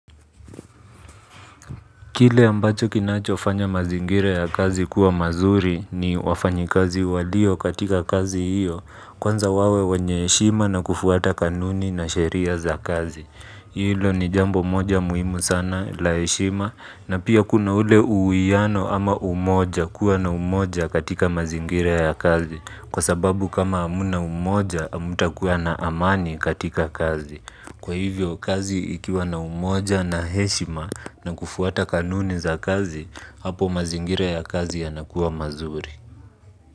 Kile ambacho kinachofanya mazingira ya kazi kuwa mazuri ni wafanyikazi walio katika kazi hiyo. Kwanza wawe wenye heshima na kufuata kanuni na sheria za kazi. Hilo ni jambo moja muhimu sana la heshima na pia kuna ule uwiano ama umoja kuwa na umoja katika mazingira ya kazi. Kwa sababu kama hamna umoja hamtakuwa na amani katika kazi. Kwa hivyo kazi ikiwa na umoja na heshima na kufuata kanuni za kazi, hapo mazingira ya kazi yanakua mazuri.